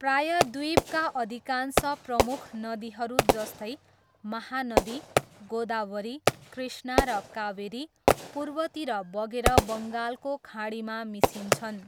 प्रायद्वीपका अधिकांश प्रमुख नदीहरू जस्तै महानदी, गोदावरी, कृष्णा र कावेरी, पूर्वतिर बगेर बङ्गालको खाडीमा मिसिन्छन्।